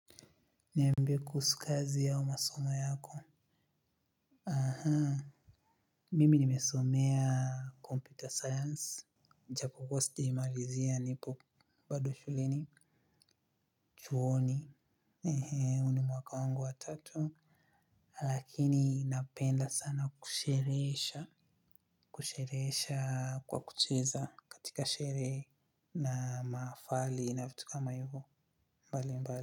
Niambie kuhusu kazi au masomo yako. Ahaa. Mimi nimesomea computer science. Japo kuwa sijaimalizia nipo badu shuleni. Chuoni, huu ni mwaka wangu wa tatu. Lakini napenda sana kusherehesha. Kusherehesha kwa kucheza katika sherehe na maafali na vitu kama hivo mbali mbali.